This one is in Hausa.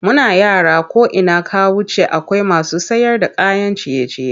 Muna yara ko ina ka wuce akwai masu sayarda kayan ciye-ciye.